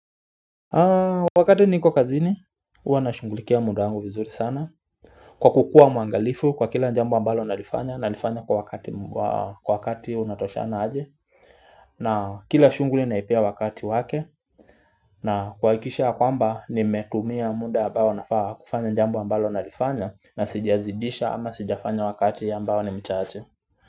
Wakati niko kazini, huwa nashughulikia muda wangu vizuri sana Kwa kukua mwangalifu kwa kila njambo ambalo nalifanya nalifanya kwa wakati unatoshana aje na kila shunguli naipea wakati wake na kuhakikisha yakwamba nimetumia muda ambao nafaa kufanya njambo ambalo nalifanya na sijazidisha ama sijafanya wakati ambao ni mchache.